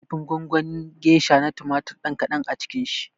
Kifin gongonin gesha na tumatir ɗan kaɗan a cikin shi